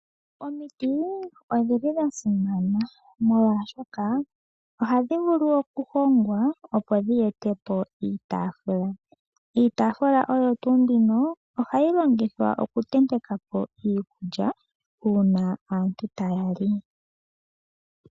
Omiti odhi li dha simana molwashoka ohadhi vulu okuhongwa dhi ete po iitafula. Iitafula oyo tuu mbino ohayi longithwa okutenteka po iikulya uuna aantu taya li.